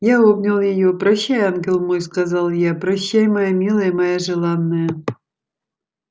я обнял её прощай ангел мой сказал я прощай моя милая моя желанная